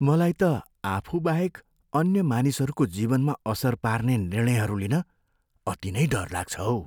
मलाई त आफूबाहेक अन्य मानिसहरूको जीवनमा असर पार्ने निर्णयहरू लिन अति नै डर लाग्छ हौ।